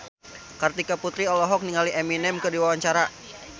Kartika Putri olohok ningali Eminem keur diwawancara